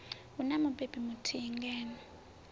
hu na mubebi muthihi ngeno